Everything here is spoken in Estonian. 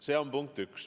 See on punkt üks.